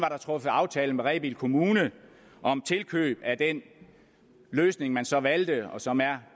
truffet aftale med rebild kommune om tilkøb af den løsning man så valgte og som er